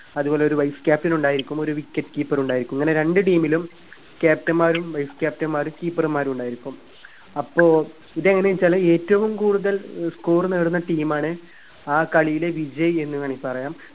അതുപോലൊരു wise captain ഉണ്ടായിരിക്കും ഒരു wicket keeper ഉണ്ടായിരിക്കും ഇങ്ങനെ രണ്ടു team ലും captain മാരും wise captain മാരും keeper മാരും ഉണ്ടായിരിക്കും അപ്പോ ഇതെങ്ങെനെ വെച്ചാല് ഏറ്റവും കൂടുതൽ score നേടുന്ന team ആണ് ആ കളിയിലെ വിജയി എന്ന് വേണിൽ പറയാം